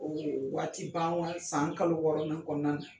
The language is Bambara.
o dr ye o ye waati ban san kalo wɔɔrɔ nan kɔnɔna na